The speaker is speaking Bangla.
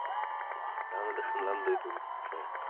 আমি তো শুনলাম দুইটা আছে,